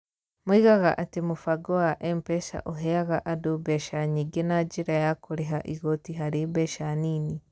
Moigaga atĩ mũbango wa M-PESA ũheaga andũ mbeca nyingĩ na njĩra ya kũrĩha igooti harĩ mbeca nini.